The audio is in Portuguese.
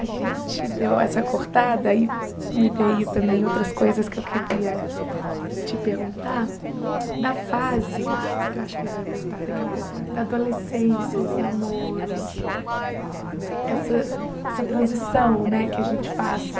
A gente deu essa cortada e me veio também outras coisas que eu queria te perguntar da fase, que eu acho que vai voltar daqui a pouco né, da adolescência, os namoros, essa essa transição né que a gente passa